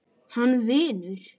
Hann vinur.